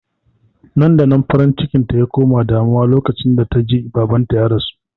Nan-da-nan farin cikinta ya koma damuwa lokacin da ta ji babanta ya rasu